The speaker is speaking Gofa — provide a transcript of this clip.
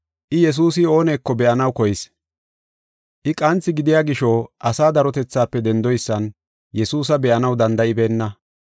I Yesuusi ooneko be7anaw koyis. I qanthi gidiya gisho asaa darotethaafe dendoysan Yesuusa be7anaw danda7ibeenna.